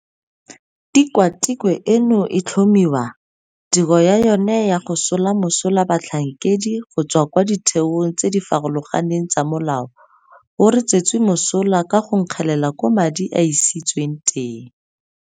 Tikwa tikwe eno e tlhomiwa, tiro ya yona ya go sola mosola batlhankedi go tswa kwa ditheong tse di farologaneng tsa molao go re tswetse mosola ka go nkgelela koo madi a isitsweng teng.